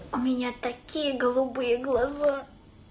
у меня такие голубые глаза